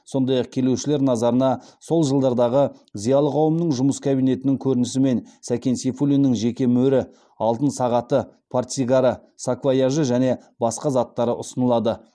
сондай ақ келушілер назарына сол жылдардағы зиялы қауымның жұмыс кабинетінің көрінісі мен сакен сейфуллиннің жеке мөрі алтын сағаты портсигары саквояжы және басқа заттары ұсынылады